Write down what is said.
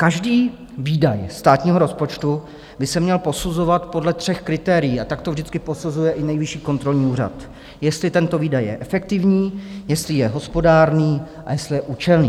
Každý výdaj státního rozpočtu by se měl posuzovat podle tří kritérií a tak to vždycky posuzuje i Nejvyšší kontrolní úřad: jestli tento výdaj je efektivní, jestli je hospodárný a jestli je účelný.